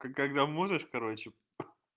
когда можешь короче